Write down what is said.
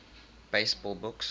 baseball books